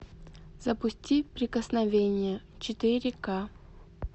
запусти прикосновение четыре ка